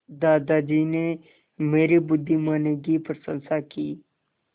दादाजी ने मेरी बुद्धिमानी की प्रशंसा की